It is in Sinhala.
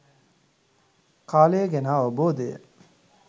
කාලය ගැන අවබෝධය